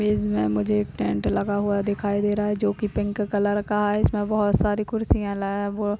इसमें मुझे टेंट लगा हुआ दिखाई दे रहा है जोकि पिंक कलर का है इसमें बहुत सारी कुर्सियां